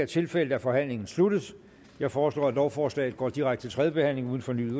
tilfældet forhandlingen er sluttet jeg foreslår at lovforslaget går direkte til tredje behandling uden fornyet